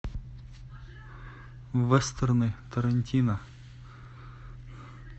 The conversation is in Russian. вестерны тарантино